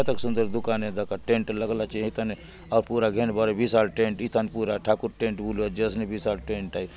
कतक सुन्दर दुकान आय दखा एकत टेंट लागला चे हय थाने पूरा घेंबार आय हय थाने विशाल टेंट ठाकुर टेंट बलुआत जे असनी विशाल टेंट आय।